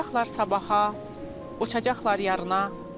Uçacaqlar sabaha, uçacaqlar yarına.